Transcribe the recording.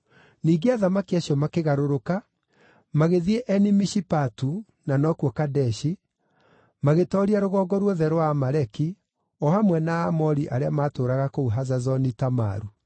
Ningĩ athamaki acio makĩgarũrũka, magĩthiĩ Eni-Mishipatu (na nokuo Kadeshi), magĩtooria rũgongo ruothe rwa Amaleki, o hamwe na Aamori arĩa maatũũraga kũu Hazazoni-Tamaru.